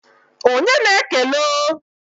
Onye na-ekele o?